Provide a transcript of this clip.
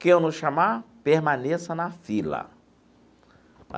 Quem eu não chamar, permaneça na fila.